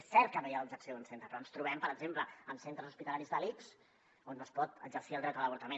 és cert que no hi ha l’objecció d’un centre però ens trobem per exemple amb centres hospitalaris de l’ics on no es pot exercir el dret a l’avortament